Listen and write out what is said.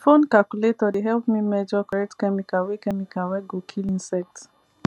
phone calculator dey help me measure correct chemical wey chemical wey go kill insect